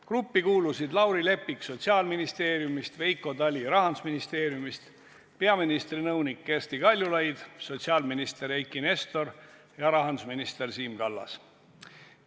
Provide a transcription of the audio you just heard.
Gruppi kuulusid Lauri Leppik Sotsiaalministeeriumist, Veiko Tali Rahandusministeeriumist, peaministri nõunik Kersti Kaljulaid, sotsiaalminister Eiki Nestor ja rahandusminister Siim Kallas.